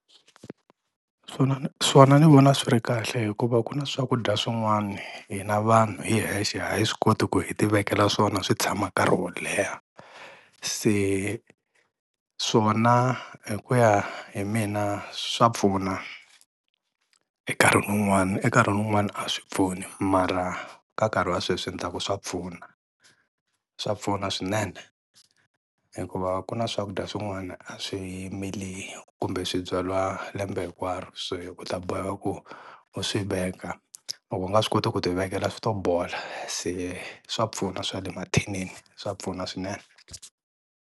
Swona swona ni vona swi ri kahle hikuva ku na swakudya swin'wana hina vanhu hi hexe a hi swi koti ku hi tivekela swona swi tshama nkarhi wo leha, se swona hi ku ya hi mina swa pfuna enkarhi wun'wana enkarhi wun'wana a swi pfuni mara ka nkarhi wa sweswi ndzi ta ku swa pfuna, swa pfuna swinene hikuva ku na swakudya swin'wana a swi mila kumbe swibyariwa lembe hinkwaro, se u ta boheka ku u swiveka loko u nga swi koti ku ti vekela swi to bolo se swa pfuna swa le mathinini swa pfuna swinene.